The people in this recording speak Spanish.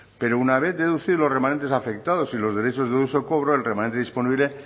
pero una vez deducidos los remanentes afectados y los derechos de dudoso cobro el remanente disponible